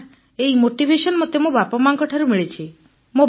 sir ଏହି motivation ମୋତେ ମୋ ବାପାମାଙ୍କଠୁ ମିଳୁଛି